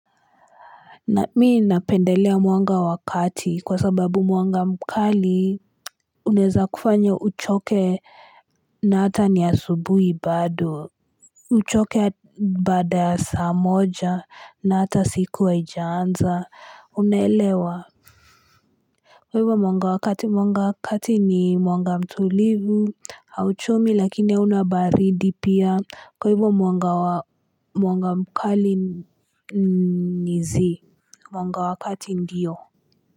Mi napendelea mwanga wa kati kwa sababu mwanga mkali unaweza kufanya uchoke na hata ni asubuhi bado. Uchoke baada ya saa moja na hata siku haijaanza unaelewa. Kwa hivyo mwanga wa kati ni mwanga mtulivu hauchomi lakini hauna baridi pia. Kwa hivyo mwanga mkali ni zii mwanga wa kati ndiyo.